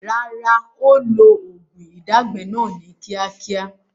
Rárá, ó ó lo oògùn ìdágbẹ́ náà ni kíákíá